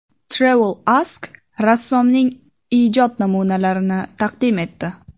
TravelAsk rassomning ijod namunalarini taqdim etdi .